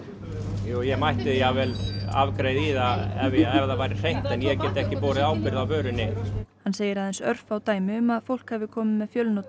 ég mætti jafnvel afgreiða í það ef það væri hreint en ég get ekki borið ábyrgð á vörunni hann segir örfá dæmi um að fólk hafi komið með fjölnota